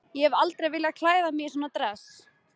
Ég hef aldrei viljað klæða mig í svona dress.